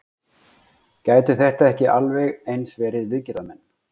Gætu þetta ekki alveg eins verið viðgerðarmenn?